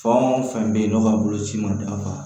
Fɛn o fɛn bɛ yen n'o ka boloci ma dafa